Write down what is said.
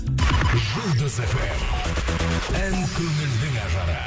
жұлдыз эф эм ән көңілдің ажары